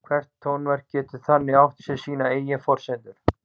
Hvert tónverk getur þannig átt sér sínar eigin forsendur.